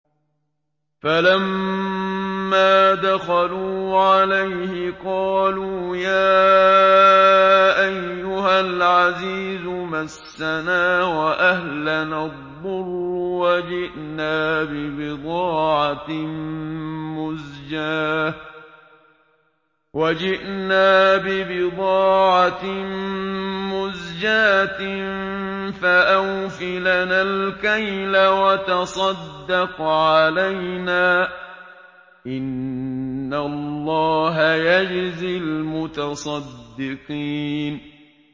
فَلَمَّا دَخَلُوا عَلَيْهِ قَالُوا يَا أَيُّهَا الْعَزِيزُ مَسَّنَا وَأَهْلَنَا الضُّرُّ وَجِئْنَا بِبِضَاعَةٍ مُّزْجَاةٍ فَأَوْفِ لَنَا الْكَيْلَ وَتَصَدَّقْ عَلَيْنَا ۖ إِنَّ اللَّهَ يَجْزِي الْمُتَصَدِّقِينَ